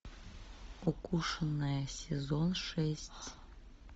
укушенная сезон шесть